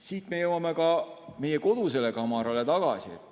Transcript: Siit me jõuame meie kodusele kamarale tagasi.